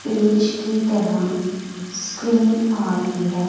Page की तरह screen आ रही है।